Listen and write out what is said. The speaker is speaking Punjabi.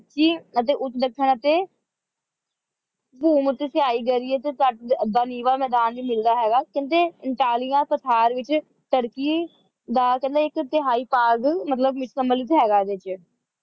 ਕਿ ਉਹ ਦੱਖਣ ਅਤੇ ਭੂ ਮੱਧ ਸਿਆਹ ਏਰੀਏ ਤੇ ਐਦਾਂ ਨੀਵਾਂ ਮੈਦਾਨ ਵੀ ਮਿਲਦਾ ਹੈਗਾ ਕਹਿੰਦੇ ਅੰਤੋਲਿਆ ਪਠਾਰ ਵਿੱਚ ਤੁਰਕੀ ਦਾ ਇੱਕ ਤਿਹਾਈ ਭਾਗ ਮਤਲਬ ਸੰਮਿਲਿਤ ਹੈਗਾ ਹੈ ਵਿੱਚ